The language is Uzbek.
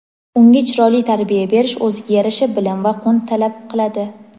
unga chiroyli tarbiya berish o‘ziga yarasha bilim va qunt talab qiladi.